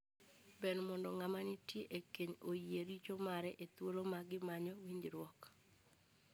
Ber mondo ng'ama nitie e keny oyie richo mare e thuolo ma gimanyo winjruok.